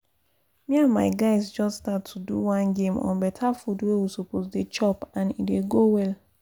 me and my guys just start to do one game on better food wey we suppose dey chop and e dey go well